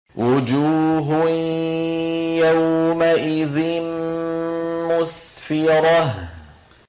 وُجُوهٌ يَوْمَئِذٍ مُّسْفِرَةٌ